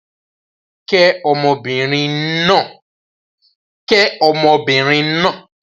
Kẹ́ ọmọbìnrin náà!